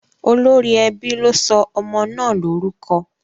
Olórí ẹbí ló sọ ọmọ náà lórúkọ?